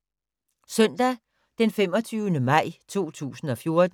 Søndag d. 25. maj 2014